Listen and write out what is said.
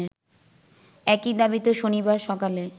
একই দাবিতে শনিবার সকালে